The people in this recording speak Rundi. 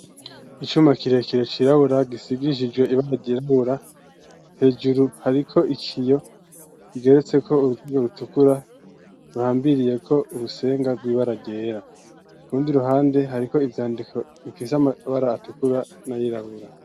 Icuma kirekire cirabura gisigishijwe ibara ryirabura hejuru hariko ikiyo bigeretse ko uruzingo rutukura ruhambiriye ko urusenga rw'ibara ryera kurundi ruhande hariko ivyandiko bigize amabara atukura na yirabura.